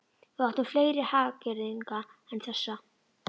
Við áttum fleiri hagyrðinga en þessa.